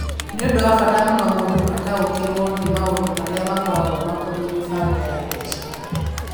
Nĩ ũndũ wa bata mũno mũndũ ataũkĩrũo nĩ maũndũ marĩa makoragwo makoniĩ mĩbango ya mbeca.